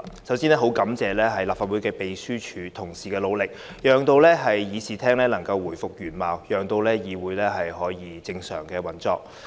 首先，我很感謝立法會秘書處同事的努力，讓議事廳能夠回復原貌，議會得以正常運作。